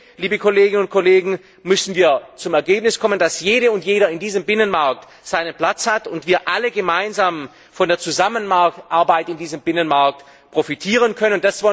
Am Ende, liebe Kolleginnen und Kollegen, müssen wir zu dem Ergebnis kommen, dass jede und jeder in diesem Binnenmarkt seinen Platz hat und wir alle gemeinsam von der Zusammenarbeit in diesem Binnenmarkt profitieren können.